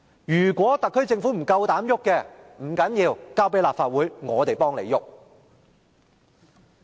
如果特區政府不敢碰它，可由立法會代勞。